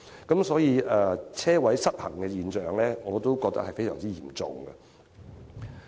因此，我認為泊車位失衡的現象，將會非常嚴重。